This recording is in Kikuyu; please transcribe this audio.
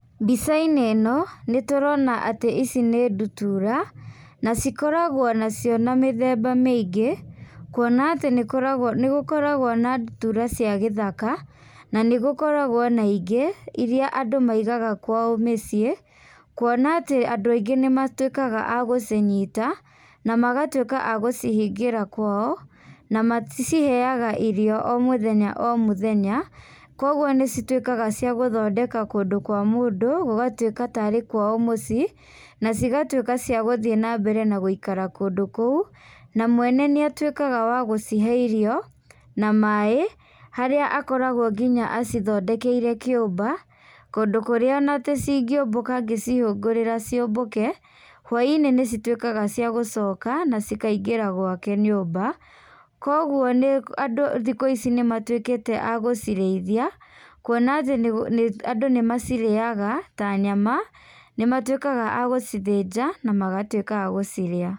Mbicainĩ ĩno nĩ tũrona atĩ ici nĩ ndutura na cikoragwo nacio na mĩthemba mĩingĩ kwona atĩ nĩgũkoragwo na ndutura cia gĩthaka na gũkoragwo na ingĩ irĩa andũ maigaga kwao mĩciĩ kwona atĩ andũ aingĩ nĩmatuĩkaga agũcĩnyita na magatũĩka a gũcihingĩra kwao na maciheaga irio omũthenya omũthenya kwoguo nĩcitũĩkaga cia gũthondeka kũndũ kwa mũndũ gũgatuĩka tarĩ kwao mũcii na cigatuĩka cia gũthii na mbere na gũikara kũndũ kũu na mwene nĩ atũĩkaga wa gũcihe irio na maĩ harĩa akoragwo nginya acithondekeire kĩũmba, kũndũ kũria ona cingĩũmbũka angĩcihũrĩra cĩũmbũke, hwaĩinĩ nĩcĩtuĩkaga cia gũcoka na cikaingĩra gwake nyũmba kwoguo andũ thikũ ici nĩmatũĩkĩte agũcirĩithia kwona atĩ andũ nĩ macirĩaga ta nyama nĩmatũĩkaga ma gũcithĩnja na magatũĩka magũciria.